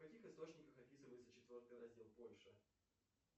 в каких источниках описывается четвертый раздел польши